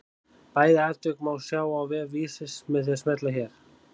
Bæði atvik má sjá á vef Vísis með því að smella hér.